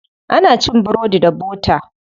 Ana cin burodi da bota.